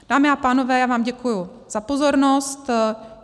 Dámy a pánové, já vám děkuji za pozornost.